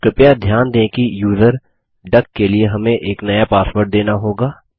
कृपया ध्यान दें कि यूज़र डक के लिए हमें एक नया पासवर्ड देना होगा